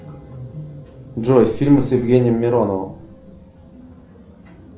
джой фильмы с евгением мироновым